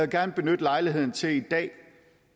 gerne benytte lejligheden til i dag